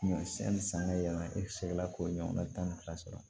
Ɲɔ si ni san bɛ yaala i bɛ se ka k'o ɲɔgɔnna tan ni fila sɔrɔ